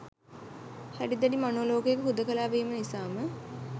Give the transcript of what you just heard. හැඩි දැඩි මනෝ ලෝකයක හුදකලා වීම නිසාම